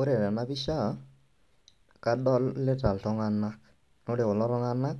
Ore tena pisha, kadolita iltung'anak naa ore kulo tung'anak